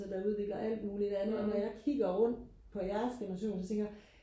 der udvikler alt muligt andet og når jeg kigger rundt på jeres generation så tænker jeg